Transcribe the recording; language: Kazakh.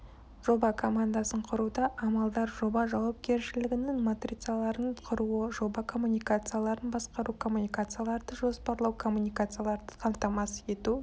жоба командасын құруда амалдар жоба жауапкершілігінің матрицаларын құруы жоба коммуникацияларын басқару коммуникацияларды жоспарлау коммуникацияларды қамтамасыз етуі